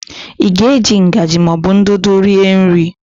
Ị ga-eji ngaji ma ọ bụ ndụdụ rie nri?